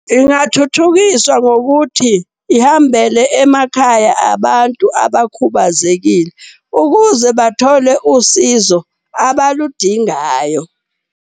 Ingathuthukiswa ngokuthi ihambele emakhaya abantu abakhubazekile ukuze bathole usizo abaludingayo.